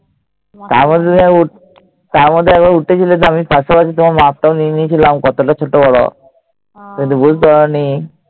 তারমধ্যে তারমধ্যে একবার উঠেছিলে তো পাশাপাশি আমি মাপটাও নিয়ে নিয়েছিলাম কতোটা ছোট বড় তুমি বুঝতে পারনি।